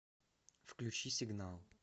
включи сигнал